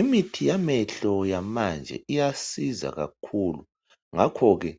Imithi yamehlo yamanje iyasiza kakhulu ngakho ke